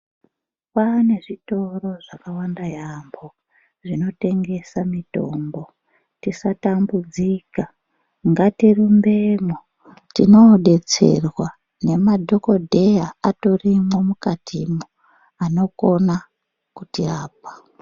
Kwane zvitoro zvakawanda yaambo zvinotengesa mitombo. Tisatambudzika ngatirumbemwo tinobetserwa nemadhokodheya atorimwo mukatimwo anokona kuti yapa.